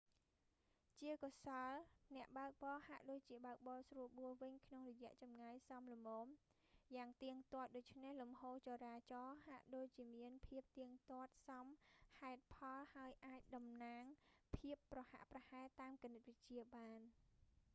ជាកុសល អ្នកបើកបរហាក់ដូចជាបើកបរស្រួលបួលវិញក្នុងរយៈចម្ងាយសមល្មនយ៉ាងទៀងទាត់ ដូច្នេះលំហូរចរាចរណ៍ហាក់ដូចជាមានភាពទៀងទាត់សមហេតុផលហើយអាចតំណាងភាពប្រហាក់ប្រហែលតាមគណិតវិទ្យាបាន